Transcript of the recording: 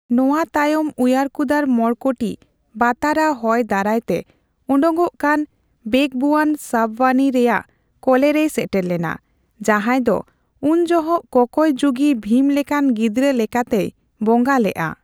ᱱᱚᱣᱟ ᱛᱟᱭᱚᱢ ᱩᱭᱟᱨᱠᱩᱫᱟᱨ ᱢᱚᱲᱠᱚᱴᱤ ᱵᱟᱛᱟᱨᱟ ᱦᱚᱭ ᱫᱟᱨᱟᱭ ᱛᱮ ᱚᱰᱚᱠᱚᱜ ᱠᱟᱱᱟ ᱵᱮᱜᱣᱩᱭᱟᱱ ᱥᱟᱯᱣᱟᱱᱤ ᱨᱮᱭᱟᱜ ᱠᱚᱞᱮ ᱨᱮᱭ ᱥᱮᱴᱮᱨ ᱞᱮᱱᱟ, ᱡᱟᱦᱟᱸᱭ ᱫᱚ ᱩᱱᱡᱚᱦᱚᱜ ᱠᱚᱠᱚᱭ ᱡᱩᱜᱤ ᱵᱷᱤᱢ ᱞᱮᱠᱟᱱ ᱜᱤᱫᱽᱨᱟᱹ ᱞᱮᱠᱟᱛᱮᱭ ᱵᱚᱸᱜᱟ ᱞᱮᱫ ᱟ ᱾